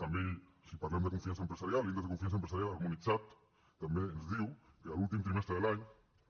també si parlem de confiança empresarial l’índex de confiança empresarial harmonitzat també ens diu que a l’últim trimestre de l’any